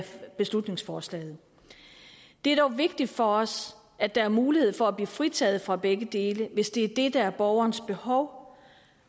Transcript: beslutningsforslaget det er dog vigtigt for os at der er mulighed for at blive fritaget for begge dele hvis det er det der er borgerens behov